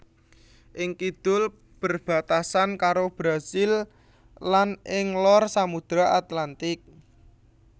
Ing kidul berbatasan karo Brasil lan ing lor Samudra Atlantik